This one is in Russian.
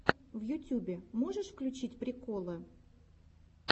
на ютюбе можешь включить приколы